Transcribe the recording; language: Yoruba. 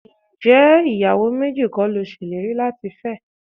Ǹjẹ́ ìyàwó méjì kọ́ ni o ṣèlérí láti fẹ́?